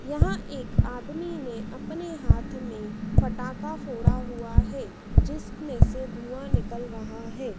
यहां एक आदमी ने अपने हाथ में फ़टाका फोड़ा हुआ है जिसमें से धुआं निकल रहा है।